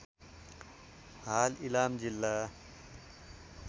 हाल इलाम जिल्ला